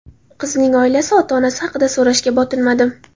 Qizning oilasi, ota-onasi haqida so‘rashga botinmadim.